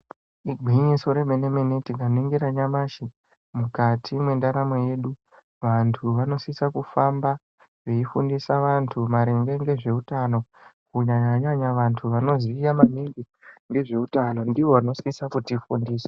Igwinyiso remene mene tikaningira nyamashi mukati mendaramo yedu vantu vanosisa kufamba veifundisa vantu maringe ngezvehutano kunyanya vantu vanoziva maningi ngezvehutano ndivo vanosisa kutifundisa.